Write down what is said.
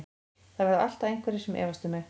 Það verða alltaf einhverjir sem efast um mig.